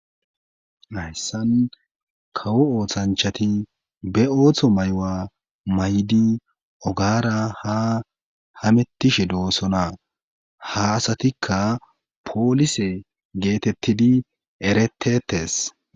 Hyssan kawo oothanchati be ooththo maywa may'di ogara ha hamettishe doosona ha asatikka poolise geetettidi eretettes.